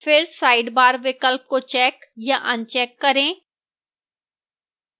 फिर sidebar विकल्प को check या अनचेक करें